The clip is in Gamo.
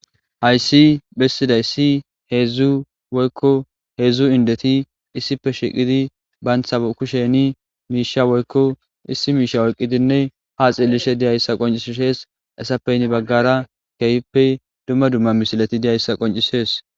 hayssi bessidaysii heedzdzu woykko heedzdzu indeti issipe shiqidi bayntha kusheni miisha woykko issi miisha oyqqidinne ha xillishe diyayssa qoncisshees heyisappe henni baggara keeyippe dumma dumma misihilati diyayssa qoncisees